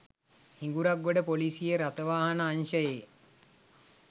හිඟුරක්ගොඩ ‍පොලිසියේ රථවාහන අංශයේ